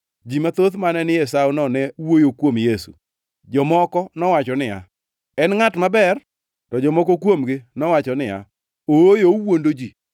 Ji mathoth mane ni e sawono ne wuoyo kuom Yesu. Jomoko nowacho niya, “En ngʼat maber.” To jomoko kuomgi to nowacho niya, “Ooyo, owuondo ji.”